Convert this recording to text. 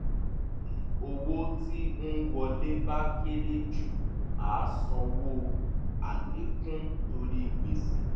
tí owó tí ń wọlé bá kere ju á sanwó àlékún torí gbèsè